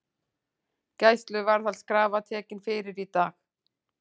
Gæsluvarðhaldskrafa tekin fyrir í dag